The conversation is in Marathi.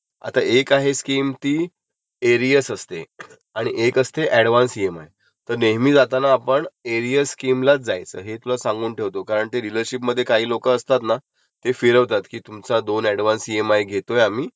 म्हणजे तुम्हाला इएमआय फक्त समजा साठ च्या जागी फिप्टाटचं भरावे लागतील. पण तसं काही नसतं. आपल्याला काय वाटतं आपल्या वाटतं हम्म्म ओके ठीक आहे, पण जेव्हा आपले साठ ईएमआय जातात मग आपण जातो डिलरशिपला विचारायला जाल तर डिलरशिप तर तो माणूस गायबं झालेला असतो.